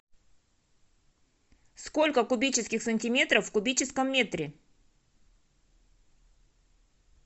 сколько кубических сантиметров в кубическом метре